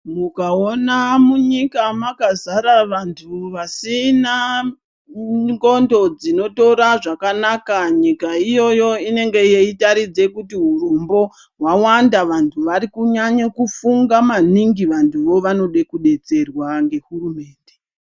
Mukaona munyika makazara vantu vasina ndxondo dzinotora zvakanaka, nyika iyoyo inenge yeitaridza kuti hurombo hwawanda, vantu vari kunyanya kufunga maningi, vantuvo vanoda kudetserwa ngehurumende.